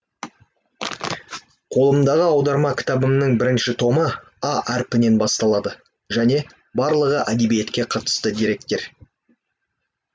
қолымдағы аударма кітабымның бірінші томы а әрпінен басталады және барлығы әдебиетке қатысты деректер